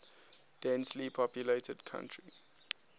densely populated country